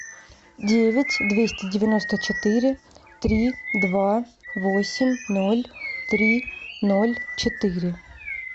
девять двести девяносто четыре три два восемь ноль три ноль четыре